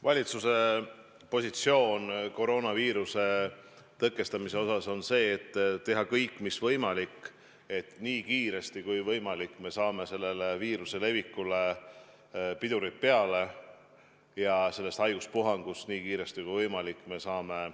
Valitsuse positsioon koroonaviiruse tõkestamise osas on see, et teha kõik, mis võimalik, et nii kiiresti kui võimalik me saame viiruse levikule pidurid peale ja sellest haiguspuhangust nii kiiresti kui võimalik üle.